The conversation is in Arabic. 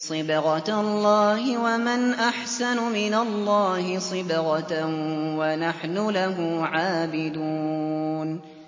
صِبْغَةَ اللَّهِ ۖ وَمَنْ أَحْسَنُ مِنَ اللَّهِ صِبْغَةً ۖ وَنَحْنُ لَهُ عَابِدُونَ